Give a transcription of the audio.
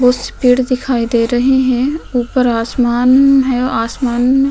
बोहोत सी भीड़ दिखाई दे रही है। ऊपर आसमान है। आसमान --